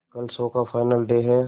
कल शो का final day है